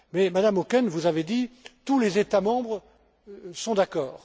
Mais, Madame Auken, vous avez dit tous les États membres sont d'accord.